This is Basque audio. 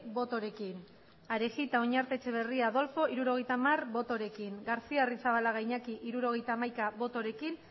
botorekin adolfo arejita oñarte etxebarria jauna hirurogeita hamar botorekin iñaki garcía arrizabalaga jauna hirurogeita hamaika botorekin